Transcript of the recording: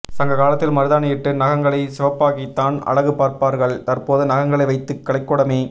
சங்கக் காலத்தில் மருதாணி இட்டு நகங்களை சிவப்பாக்கித்தான் அழகு பார்ப்பார்கள் தற்போது நகங்களை வைத்து கலைக்கூடமே